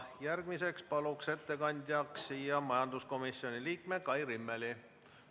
Järgmiseks palun ettekandjaks majanduskomisjoni liikme Kai Rimmeli.